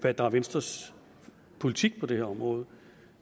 hvad der er venstres politik på det her område